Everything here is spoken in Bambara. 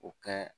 O kɛ